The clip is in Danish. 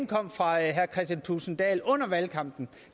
kom fra herre kristian thulesen dahl under valgkampen